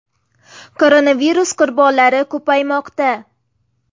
Koronavirus qurbonlari ko‘paymoqda.